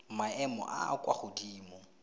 maemo a a kwa godimo